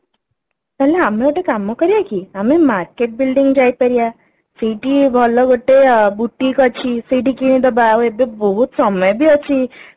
ହେଲେ ଆମେ ଗୋଟେ କାମ କରିବା କି ଆମେ market building ଯାଇପାରିବା ସେଇଠି ଭଲ ଗୋଟେ boutique ଅଛି ସେଇଠି କିଣିଦବା ଆଉ ଏବେ ବହୁତ ସମୟ ବି ଅଛି